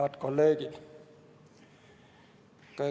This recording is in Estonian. Head kolleegid!